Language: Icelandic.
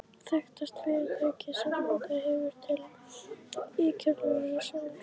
Þekktasta fyrirtækið sem orðið hefur til í kjölfar rannsókna